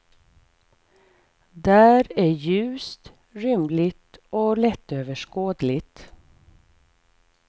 Där är ljust, rymligt och lättöverskådligt.